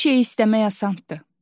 Bir şey istəmək asandır.